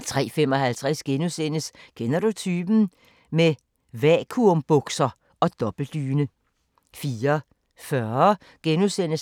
03:55: Kender du typen? – med vakuumbukser og dobbeltdyne * 04:40: